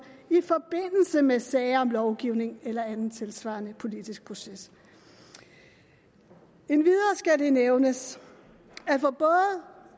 i forbindelse med sager om lovgivning eller anden tilsvarende politisk proces endvidere skal det nævnes